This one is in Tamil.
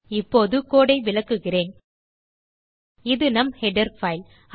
இப்போது கோடு ஐ விளக்குகிறேன் இது நம் ஹெடர் பைல்